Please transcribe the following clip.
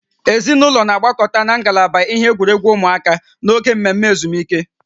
Ezinụlọ na-agbakọta na ngalaba ihe egwuregwu ụmụaka n'oge mmemme ezumike